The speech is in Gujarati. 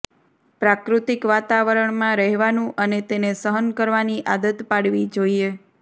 પ્રાકૃતિક વાતાવરણમાં રહેવાનું અને તેને સહન કરવાની આદત પાડવી જોઈએ